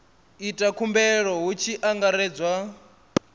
ita khumbelo hu tshi angaredzwa